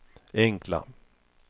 enkla